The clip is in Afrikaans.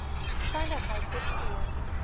veiligheid ter see